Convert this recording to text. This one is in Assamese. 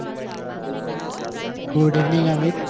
good evening Aamir